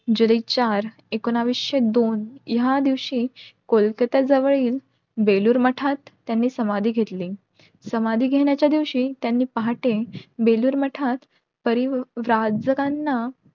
जुने चार एकोणवीसशे दोन या दिवशी कोलकाता जवळील बेलूर मठात त्यांनी समाधी घेतली. समाधी घेण्याच्या दिवशी त्यांनी मते बेलूर मठात परी